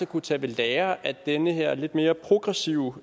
kunne tage ved lære af den her lidt mere progressive